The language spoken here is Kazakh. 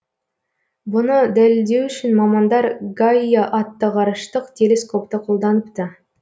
бұны дәлелдеу үшін мамандар гайа атты ғарыштық телескопты қолданыпты